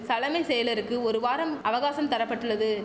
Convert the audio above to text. சலமை செயலருக்கு ஒரு வாரம் அவகாசம் தர பட்டுள்ளது